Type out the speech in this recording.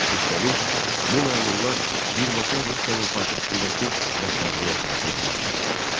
Üstəlik, bu məmurlar birbaşa Rusiyanın paytaxtındakı rəhbərliyə tabe olmalı idilər.